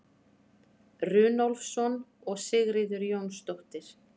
runólfsson og sigríður jónsdóttir